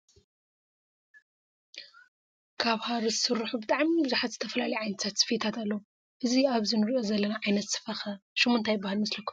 ካብ ሃሪ ዝተሰርሐ ባህላዊ ስፈታት ናይ ዝተፈላለዩ ስፈታት ኢና ንርኢ ዘለና እዚ ስፈ እዚ ከ እንታይ ይበሃል ፍሉይ ሽሙ ?